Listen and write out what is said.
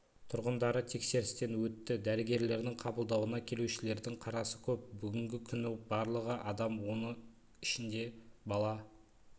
тұрғындары тексерістен өтті дәрігерлердің қабылдауына келушілердің қарасы көп бүгінгі күні барлығы адам оның ішінде бала